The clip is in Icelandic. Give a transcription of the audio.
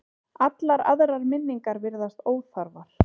Allar aðrar minningar virðast óþarfar.